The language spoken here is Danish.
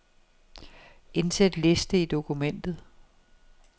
Indsæt liste i dokumentet.